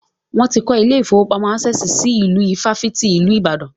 Wọ́n ti kọ́ ilé ìfọwọ́pamo Access si inú ifáfitì ìlú Ìbàdàn.